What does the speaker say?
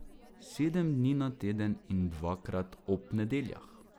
Sedem dni na teden in dvakrat ob nedeljah.